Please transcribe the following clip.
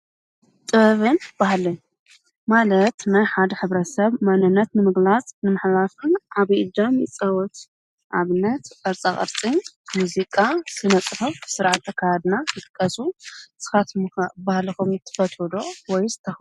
ጥበብን ባህልን ማለት ናይ ሓደ ሕብረተሰብ መንነት ንምግላፅ ንምሕላፍን ዓብይ እጃም ይፃወት ኣብነት ቅርፃቅርፅን ሙዚቃ ስነ ፅሑፍ ስርዓተ ኣከዳድና ይጥቀሱ ። ንስኻትኩም ከ ባህልኹም ትፈትው ወይስ ተኽብሩ ዶ ?